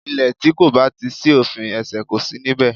Ilè tí kò bá ti sí òfin, ẹ̀sẹ̀ kò si níbẹ̀